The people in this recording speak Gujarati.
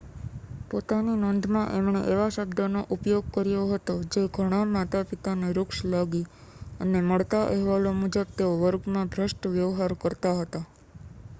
પોતાની નોંધમાં એમણે એવા શબ્દોનો ઉપયોગ કર્યો હતો જે ઘણાં માતાપિતાને રુક્ષ લાગી અને મળતા અહેવાલો મુજબ તેઓ વર્ગમાં ભ્રષ્ટ વ્યવહાર કરતા હતા